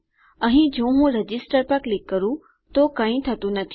અહીં જો હું રજિસ્ટર પર ક્લિક કરું છું તો કઈ થતું નથી